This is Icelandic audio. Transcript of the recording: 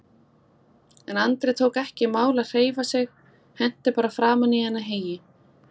En Andri tók ekki í mál að hreyfa sig, henti bara framan í hana heyi.